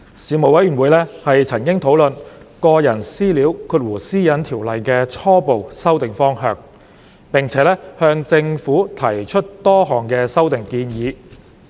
事務委員會曾討論《個人資料條例》的初步修訂方向，並且向政府提出多項修訂建議。